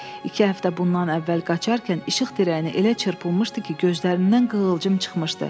İki həftə bundan əvvəl qaçarkən işıq dirəyinə elə çırpılmışdı ki, gözlərindən qığılcım çıxmışdı.